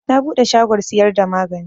Na buɗe shagon siyar da magani